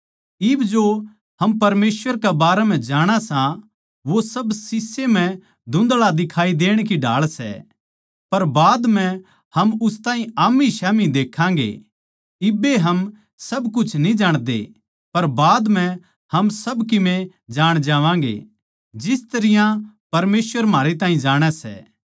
इब जो हम परमेसवर के बारें म्ह जाणा सां वो सब शीशे म्ह धुँधळा दिखाई देण की ढाळ सै पर बाद म्ह हम उस ताहीं आम्मीस्याम्ही देक्खांगें इब्बे हम सब कुछ न्ही जाणते पर बाद म्ह हम सब कीमे जाण जावांगे जिस तरियां परमेसवर म्हारे ताहीं जाणै सै